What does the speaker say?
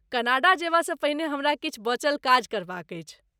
Canada जयबासँ पहिने हमरा किछु बचल काज करबाक अछि।